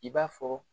I b'a fɔ